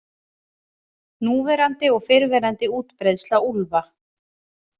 Núverandi og fyrrverandi útbreiðsla úlfa.